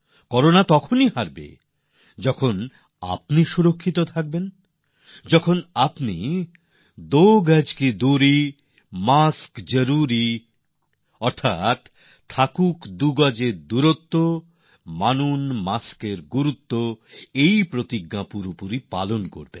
corona তখনই হারবে যখন আপনি নিরাপদ থাকবেন যখন আপনারা দো গজ কি দূরি মাস্ক জরুরি এই শপথকে পরিপূর্ণভাবে পালন করবেন